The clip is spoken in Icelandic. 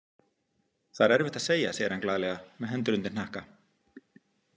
Það er erfitt að segja, segir hann glaðlega, með hendur undir hnakka.